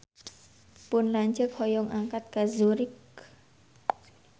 Pun lanceuk hoyong angkat ka Zurich